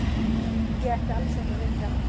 Ég ætti alls ekki að vekja hann.